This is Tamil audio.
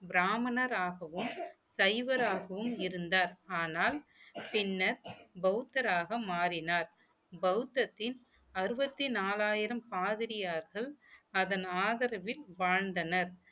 பிராமணராகவும் சைவராகவும் இருந்தார் ஆனால் பின்னர் பௌத்தராக மாறினார் பௌத்தத்தின் அறுபத்தி நாலாயிரம் பாதிரியார்கள் அதன் ஆதரவில் வாழ்ந்தனர்